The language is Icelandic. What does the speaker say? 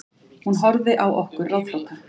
Hún horfði á okkur ráðþrota.